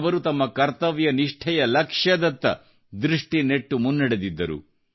ಅವರು ತಮ್ಮ ಕರ್ತವ್ಯನಿಷ್ಠೆಯ ಲಕ್ಷ್ಯದತ್ತ ದೃಷ್ಟಿನೆಟ್ಟು ಮುನ್ನಡೆದಿದ್ದರು